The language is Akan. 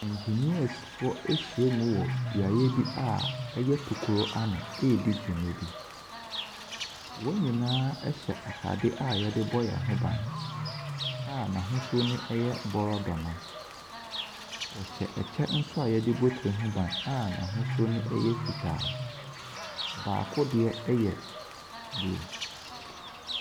Engineersfoɔ ɛhyia mu wɔ beaeɛ bi a ɛyɛ tokoro anɔ eredi dwuma bi. Wɔn nyinaa ɛhyɛ ataade a yɛdebɔ yɛn ho ban a n'ahosuo no yɛ brodwoma. Ɔhyɛ ɛkyɛ a yɛdebɔ etire ho ban a n'ahosua ɛyɛ fitaa. Baako deɛ ɛyɛ blue.